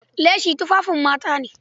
Leshi tufafin mata ne.